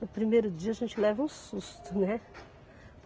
No primeiro dia a gente leva um susto, né?